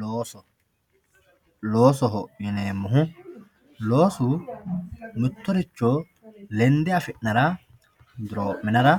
looso loosoho yineemohu loosu mittorricho lende afi'nara duroo'minara